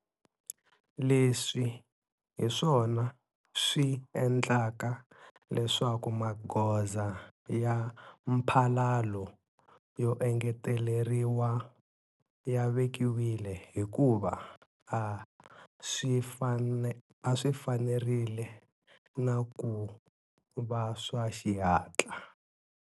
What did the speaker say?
Leswi hiswona swi endlaka leswaku magoza ya mphalalo yo engeteleriwa ya vekiwile hikuva a swi fanerile na ku va swa xihatla.